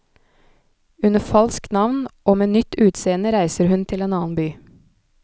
Under falskt navn og med nytt utseende reiser hun til en annen by.